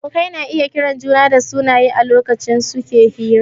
Abokai na iya kiran juna dasunaye a lokacin suke hira